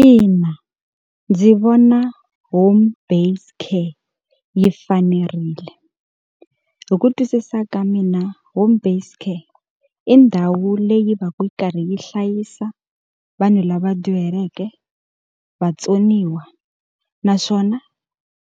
Ina, ndzi vona home based care yi fanerile. Hi ku twisisa ka mina home based care, i ndhawu leyi va ka yi karhi yi hlayisa vanhu lava dyuhaleke, vatsoniwa, naswona